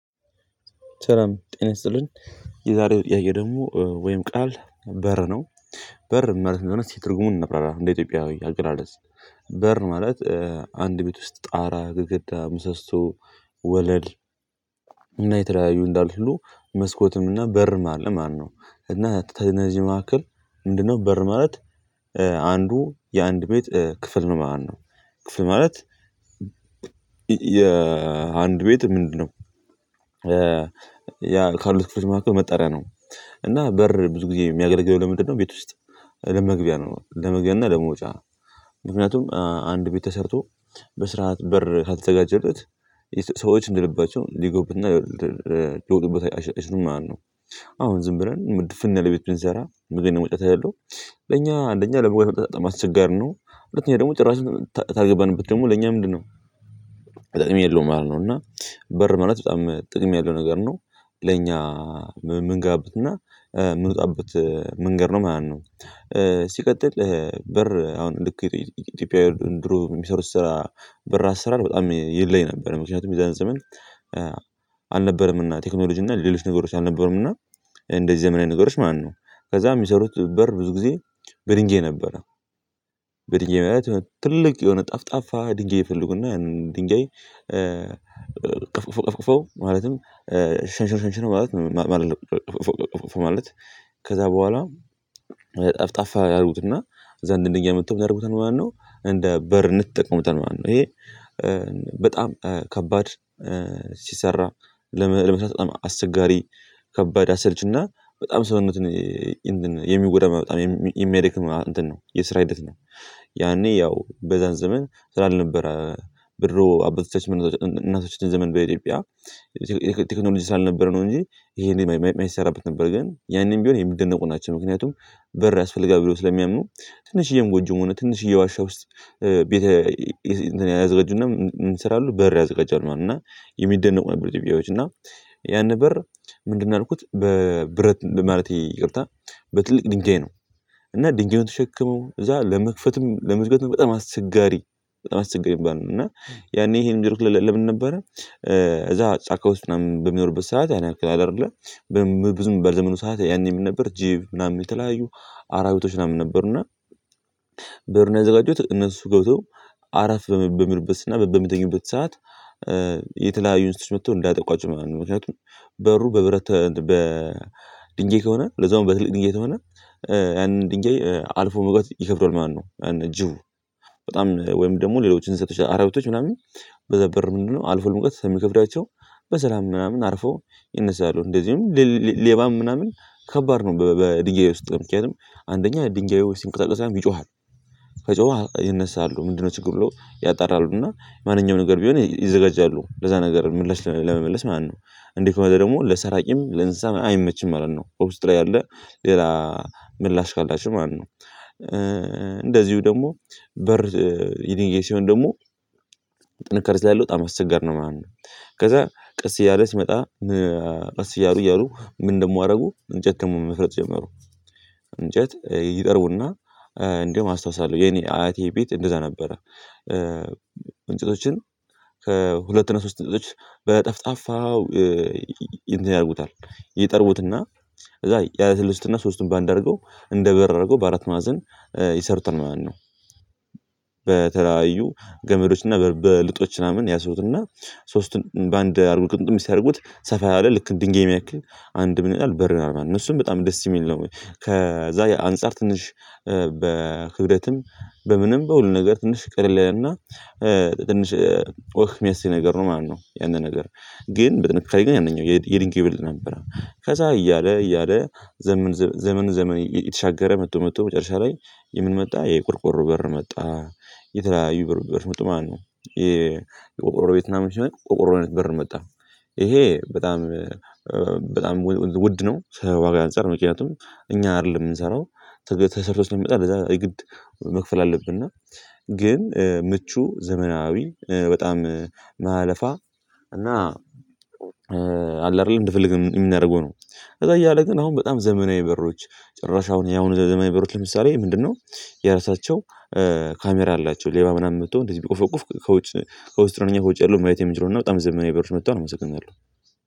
ሰላም ጤና ይስጥልኝ የዛሬው ጥያቄዬ ደግሞ ወይም ቃል በር ነው። በር ማለት ምን ማለት እንደሆነ ትርጉሙን እናብራራ እንደ ኢትዮጵያዊ አገላለጽ በር ማለት። አንድ ቤት ውስጥ ጣራ ግድግዳ ምሰሶ ወለል እና የተለያዩ እንዳሉት ሁሉ መስኮትም እና በርም አለ ማለት ነው። እና ተነዚህ መካከል ምንድነው በር ማለት? አንዱ የአንድ ቤት ክፍል ነው ማለት ነው። ክፍል ማለት የአንድ ቤት ምንድነው? ያ ካሉት ክፍሎች መካከል መጠሪያ ነው። እና በር ብዙ ጊዜ የሚያገለግለው ለምንድነው ቤት ውስጥ ለመግቢያ ነው ለመግቢያ እና ለመውጫ። ምክንያቱም አንድ ቤት ተሰርቶ በስርዓት በር ካልተዘጋጀለት ሰዎች እንደልባቸው ሊገቡበትና ሊወጡበት አይችሉም ማለት ነው። አሁን ዝም ብለን ድፍን ያለ ቤት ብንሰራ መግቢያና መውጫ ከሌለው ለኛ አንደኛ ለመግባት ለመውጣት በጣም አስቸጋሪ ነው። ሁለተኛ ደግሞ ጭራሽ ታልገባንበት ደግሞ ለኛ ምንድነው? ጥቅም የለውም ማለት ነው እና በር ማለት በጣም ጥቅም ያለው ነገር ነው። ለእኛ ምንገባበትና ምንወጣብት መንገድ ነው ማለት ነው። ሲቀጥል በር አሁን ልክ ኢትዮጵያዊ ድሮ የሚሰሩት ስራ በር አሰራር በጣም ይለይ ነበር ምክንያቱም የዛን ዘመን። አልነበረም እና ቴክኖሎጂ እና ሌሎች ነገሮች አልነበሩም እና እንደዚህ ዘመናዊ ነገሮች ማለት ነው። ከዛ የሚሰሩት በር ብዙ ጊዜ በድንጋይ ነበረ። በድንጋይ ማለት ትልቅ የሆነ ጠፍጣፋ ድንጋይ ይፈለጉና ያንን ድንጋይ ቀፍ ቅፈው ቀፍ ቅፈው ማለትም ሸንሽነው ሽንሽነው ማለት አይደለም ቀፍቅፈው ቀፍቅፈው ማለት። ከዛ በኋላ ጠፍጣፋ ያረጉትና ከዛ ያንን ድንጋይ አምጥተው ምን ያደርጉታል ማለት ነው። እንደ በር እንይጠቀሙታል ማለት ነው። ይሄ በጣም ከባድ ሲሰራ ለመቅረጽ በጣም አስቸጋሪ ከባድ አሰልችና በጣም ሰውነትን የሚጎዳ በጣም የሚያደክም እንትን ነው የስራ ሂደት ነው። ያኔ ያው በዛን ዘመን ስራ አልነበረም። በድሮ አባቶቻችን ዘመን እናቶቻችን ዘመን በኢትዮጵያ ይሄ ቴክኖሎጂ ስላልነበረ ነው እንጂ ይሄን የማይሰራበት ነበር ግን ያኔም ቢሆን የሚደነቁ ናቸው። ምክንያቱም በር ያስፈልጋል በለው ስለሚያምኑ ትንሽዬም ጎጆ ሆነ ትንሽዬ ዋሻ ውስጥ ቤት እንትን ያዘጋጁና ምን ይሰራሉ በር ያዘጋጃሉ ማለት ነው። እና የሚደነቁ ናቸው ኢትዮጵያዎች እና ያንን በር ምንድነው ያልኩት በብረት በማለቴ ይቅርታ በትልቅ ድንጋይ ነው። እና ድንጋዩን ተሸክመው እዛ ለመክፈትም ለመዝገብም በጣም አስቸጋሪ በጣም አስቸጋሪ የሚባል ነው እና ያኔ ይሄን የሚያደርጉት ለምን ነበረ? እዛ ጫካ ውስጥ ምናምን በሚኖሩበት ሰዓት ያን ያህል አይደለ ምንም ብዙም በዘመኑ ሰዓት ያኔ ምን ነበር ጂብ ምናምን የተለያዩ አራዊቶች ምናምን ነበሩና። በር የሚያዘጋጁት እነሱ ገብተው አረፍ በሚሉበትና በሚተኙበት ሰዓት እንሳት መጥተው እንዳያጠቋቸው ማለት ነው። ምክንያቱም በሩ በብረት በድንጋይ ከሆነ ለዛውም በትልቅ ድንጋይ ከሆነ ያንን ድንጋይ አልፎ መግባት ይከብደዋል ማለት ነው። ያንን ጅቡ በጣም ወይም ደግሞ ሌሎችን እንስሳቶች አራዊቶች ምናምን በዛ በር ምንድነው አልፈው መግባት ስለሚከብዳቸው። በሰላም ምናምን አርፈው ይነሣሉ እንደዚሁም። ሌባም ምናምን ከባድ ነው በድንጋይ ውስጥ ምክንያቱም አንደኛ ድንጋዩ ሲንቀሳቀስም ይጮሃል። ከጮኸ ይነሳሉ ምንድነው ችግሩ ብለው ያጣራሉና ማንኛውም ነገር ቢሆን ይዘጋጃሉ ለዛ ነገር ምላሽ ለመመለስ ማለት ነው። እንዲህ ከሆነ ደግሞ ለሰራቂም ለእንስሳም አይመችም ማለት ነው እውስጥ ያለ ሌላ ምላሽ ካላቸው ማለት ነው። እንደዚሁ ደግሞ በር የድንጋይ ሲሆን ደግሞ ጥንካሬ ስላለው በጣም አስቸጋሪ ነው ማለት ነው። ከዛ ቀስ እያለ ሲመጣ ቀስ እያሉ እያሉ ምን ደግሞ አሩጉ እንጨት ደግሞ መስራት ጀመሩ። እንጨት ይጠርቡና እንደውም አስታውሳለሁ የኔ አያቴ ቤት እንደዛ ነበረ። እንጨቶችን ከሁለት እና ሶስት እንጨቶች በጠፍጣፋው እንትን ያደርጉታል ይጠርቡትና ከዛ ያለሰልሱትና ሦስቱን በአንድ አርገው እንደ በር አድርገው በአራት ማዕዘን ይሰሩታል ማለት ነው። በተለያዩ ገመዶችና በልጦች ምናምን ያስሩትና ሦስቱን በአንድ አርገው ግምግም ሲያደርጉት ሰፋ ያለ ልክ እንደእኛ የሚያክል አንድ ምን ይላል በር ይሆናል ማለት ነው። እሱም በጣም ደስ የሚል ነው ከዛ አንፃር ትንሽ በክብደትም በምንም በሁሉ ነገር ትንሽ ቀለል ያለእና ትንሽ ወህ የሚያሰኝ ነገር ነው ማለት ነው። ያንን ነገር ግን ጥንካሬ ላይ ያንኛው የድብጋዩ ይበልጥ ነበረ ከዛ እያለ እያለ ዘመን ዘመን ዘመን እየተሻገረ መጥቶ መጥቶ መጨረሻ ላይ የምን መጣ የቆርቆሮ በር መጣ የተለያዩ በር መጡ ማለት ነው። የቆርቆሮ ቤት ምናምን ሲሆን ቆርቆሮ አይነት በር መጣ። ይሄ በጣም በጣም ውድ ነው። ከዋጋ አንፃር ምክንያቱም እኛ አይደለም የምንሰራው ተሰርቶ ስለሚመጣ ለዛ የግድ መክፈል አለብነ። ግን ምቹ ዘመናዊ በጣም የማያለፋ እና አለ አይደል እንደፈለግን የምናደርገው ነው። ከዛ እያለ ግን አሁን በጣም ዘመናዊ በሮች ጭራሽ አሁን ያሁኑ ዘመናዊ በሮች ለምሳሌ ምንድነው? የራሳቸው ካሜራ አላቸው ሌባ ምናምን መጥቶ እንደዚህ ቢቆፈቁፍ ከውስጥ ከውስጥ ሆነው ውጭ ያለውን ማየት የሚችለውና በጣም ዘመናዊ በሮች መጥተዋል። አመሰግናለሁ